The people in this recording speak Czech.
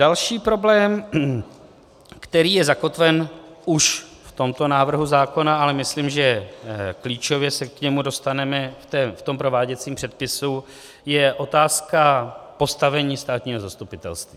Další problém, který je zakotven už v tomto návrhu zákona, ale myslím, že klíčově se k němu dostaneme v tom prováděcím předpisu, je otázka postavení státního zastupitelství.